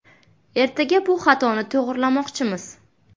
Ertaga bu xatoni to‘g‘rilamoqchimiz.